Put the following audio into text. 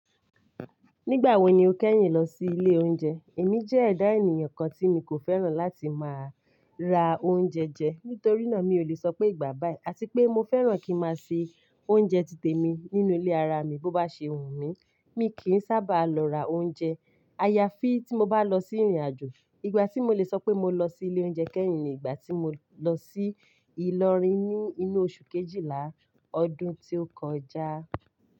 Nígbà wo ni o kẹ́yìn lọ sí ilé oúnjẹ? Èmi jẹ́ ẹ̀dá ènìyàn kan tí mi kò fẹ́ràn láti máa ra oúnjẹ jẹ nítorí náà mi ò lè sọ pé ìgbà báyi, àti pé mo fẹ́ràn kí n máa se oúnjẹ titẹ mi nínú ilé ara mi. Bo bá ṣe wù mí, mi kì í sábà lọ ra oúnjẹ. Ayàfi tí mo bá lọ sí ìrìnàjò. Ìgbà tí mo lè sọ pé mo lọ sí ilé oúnjẹ kẹ́yìn ni ìgbà tí mo lọ sí Ìlọrin ní inú oṣù Kejìlá ọdún tí ó kọjá.